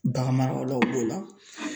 Bagan maralaw b'o la.